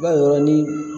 I b'a dɔn ni